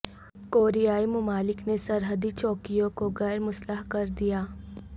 کوریائی ممالک نے سرحدی چوکیوں کو غیر مسلح کر دیا